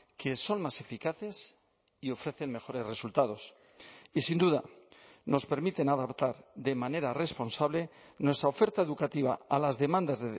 que son más eficaces y ofrecen mejores resultados y sin duda nos permiten adaptar de manera responsable nuestra oferta educativa a las demandas